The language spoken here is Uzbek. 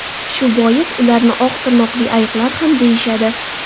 Shu bois ularni oq tirnoqli ayiqlar ham deyishadi.